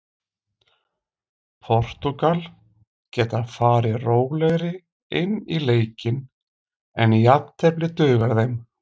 Portúgal geta farið rólegri inn í leikinn en jafntefli dugar þeim.